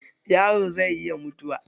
Yaro zai iya mutuwa